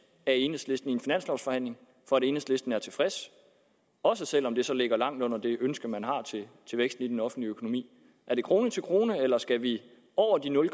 af enhedslisten i en finanslovforhandling for at enhedslisten er tilfreds også selv om det så ligger langt under det ønske man har til væksten i den offentlige økonomi er det krone til krone eller skal vi over de nul